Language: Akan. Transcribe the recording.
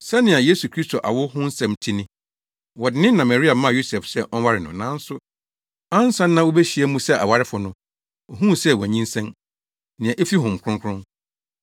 Sɛnea Yesu Kristo awo ho nsɛm te ni: Wɔde ne na Maria maa Yosef sɛ ɔnware no, nanso ansa na wobehyia mu sɛ awarefo no, ohuu sɛ wanyinsɛn; nea efi Honhom Kronkron.